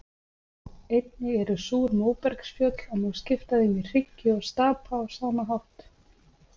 Einnig eru súr móbergsfjöll og má skipta þeim í hryggi og stapa á sama hátt.